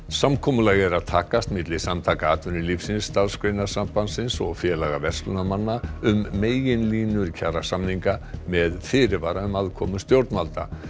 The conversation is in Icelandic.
samkomulag er að takast milli Samtaka atvinnulífsins Starfsgreinasambandsins og félaga verslunarmanna um meginlínur kjarasamninga með fyrirvara um aðkomu stjórnvalda